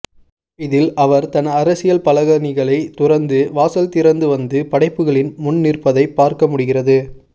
இதில் அவர் தன் அரசியல்பலகணிகளை துறந்து வாசல்திறந்து வந்து படைப்புகளின் முன் நிற்பதைப் பார்க்கமுடிகிறது